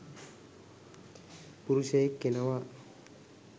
පුරුෂයෙක් එනවා.